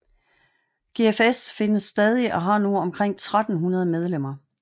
GFS findes stadig og har nu omkring 1300 medlemmer